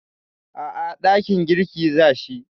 A'a, dakin girki za shi.